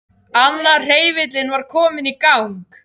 Annar hreyfillinn var kominn í gang.